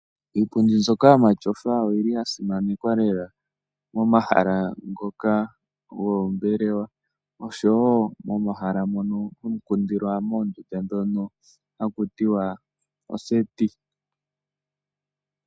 Iipundi mbyoka yomatyofa oyili yasimanekwa lela ngoka goombelewa oshowoo moondunda mono hamu kundilwa, hakutiwa ooseti.